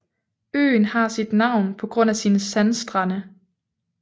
Øen har sit navn på grund af sine sandstrande